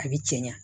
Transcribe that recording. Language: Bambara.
A bɛ cɛ ɲa